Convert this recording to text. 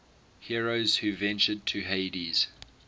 heroes who ventured to hades